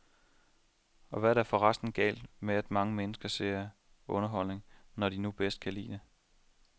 Og hvad er der forresten galt med at mange mennesker ser underholdning, når det nu er det, de kan lide?